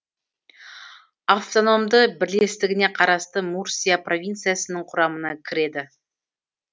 автономды бірлестігіне қарасты мурсия провинциясының құрамына кіреді